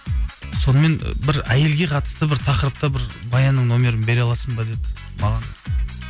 сонымен бір әйелге қатысты бір тақырыпта бір баянның нөмірін бере аласың ба деді маған